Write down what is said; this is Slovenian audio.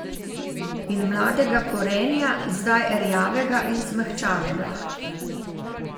In mladega korenja, zdaj rjavega in zmehčanega.